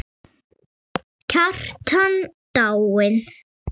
Kjartan dáinn!